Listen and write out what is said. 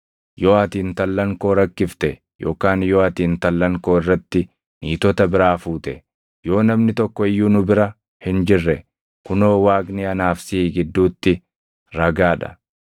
Yoo ati intallan koo rakkifte yookaan yoo ati intallan koo irratti niitota biraa fuute, yoo namni tokko iyyuu nu bira hin jirre kunoo Waaqni anaa fi siʼi gidduutti ragaa dha.”